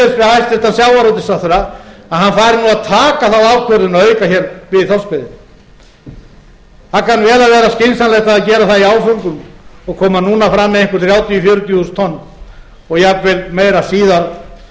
við hæstvirtan sjávarútvegsráðherra að hann fari nú að taka þá ákvörðun að auka hér við þorskveiðina það kann vel að aðra skynsamlegt að gera það í af öngum og koma núna fram að einhver þrjátíu fjörutíu þúsund tonn og jafnvel meira